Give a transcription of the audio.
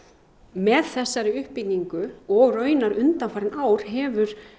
með þessari uppbyggingu og í rauninni undanfarin ár hefur